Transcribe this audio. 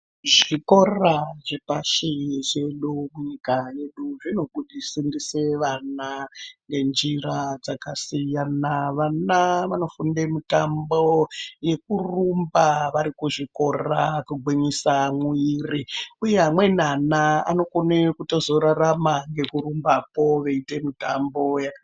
Zvikora zvepashi zvedu munyika yedu zvinofundise vana ngenjira dzakasiyana vana vanofunde mitambo yekurumba varikuzvikora kugwinyisa mwiri uye amweni ana anokone kuzotorarama ngekurumbako veiite mitambo....